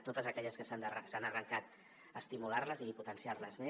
totes aquelles que s’han arrencat estimular les i potenciar les més